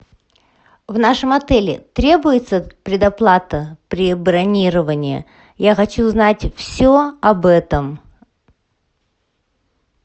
в нашем отеле требуется предоплата при бронировании я хочу узнать все об этом